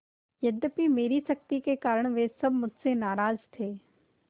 यद्यपि मेरी सख्ती के कारण वे सब मुझसे नाराज थे